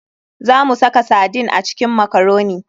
Za mu saka sardine a cikin makaroni.